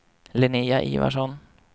Linnéa Ivarsson